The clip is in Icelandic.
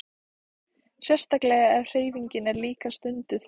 Sérstaklega ef hreyfing er líka stunduð.